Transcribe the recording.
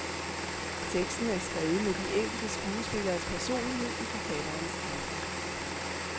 Teksten er skrevet med de enkelte skuespilleres personlighed i forfatterens tanker.